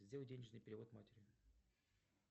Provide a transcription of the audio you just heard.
сделай денежный перевод матери